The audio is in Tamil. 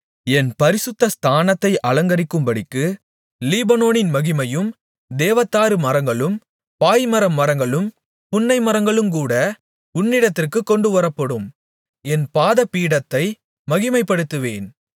என் பரிசுத்த ஸ்தானத்தைச் அலங்கரிக்கும்படிக்கு லீபனோனின் மகிமையும் தேவதாரு மரங்களும் பாய்மர மரங்களும் புன்னைமரங்களுங்கூட உன்னிடத்திற்குக் கொண்டுவரப்படும் என் பாதபீடத்தை மகிமைப்படுத்துவேன்